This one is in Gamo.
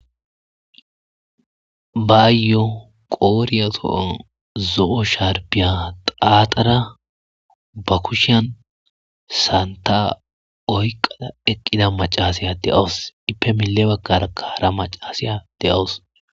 Baayyoo qooriya so7uwan zo7o sharbbiya xaaxara ba kushiyan sanththaa oyqqada eqqida maccaasiya de7awus; ippe lille baggaarakka hara maccaasiya de7awus.